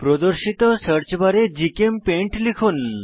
প্রদর্শিত সার্চ বারে জিচেমপেইন্ট লিখুন